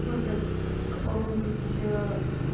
выбрать в каком-нибудь